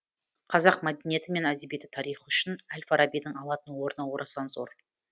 қазақ мәдениеті мен әдебиеті тарихы үшін әл фарабидің алатын орны орасан зор